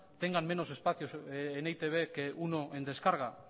tengan menos espacio en e i te be que uno en descarga